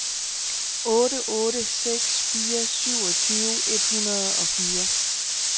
otte otte seks fire syvogtyve et hundrede og fire